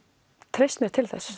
treyst mér til þess